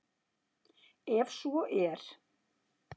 En svo er